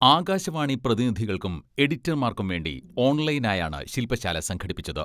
ആകാശവാണി പ്രതിനിധികൾക്കും എഡിറ്റർമാർക്കും വേണ്ടി ഓൺലൈനായാണ് ശില്പ ശാല സംഘടിപ്പിച്ചത്.